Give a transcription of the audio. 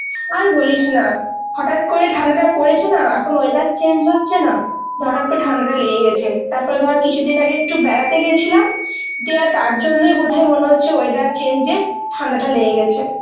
আর বলিস না, হঠাৎ করেই ঠান্ডাটা পড়েছে না, এখন weather change হচ্ছে না ধর একটা ঠান্ডাটা লেগে গেছে. তারপরে ধর কিছুদিন আগে একটু বেড়াতে গেছিলাম দিয়ে তার জন্যই বোধহয় মনে হচ্ছে weather change এ ঠান্ডাটা লেগে গেছে.